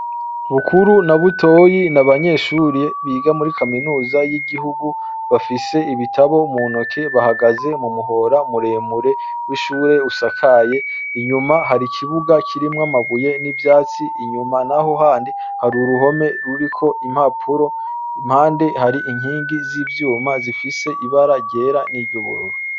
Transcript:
Bukuru na butoyi nabanyeshure biga muri kaminuza yigihugu bafise ibitabo muntoke bahagaze mumuhora muremure wishure usakaye inyuma hari ikibuga kirimwo amabuye nivyatsi inyuma naho handi hari uruhome ruriko impapuro impande hari inkingi zivyuma zifise ibara ryera niryubururu